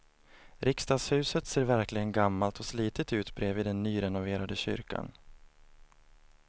Riksdagshuset ser verkligen gammalt och slitet ut bredvid den nyrenoverade kyrkan.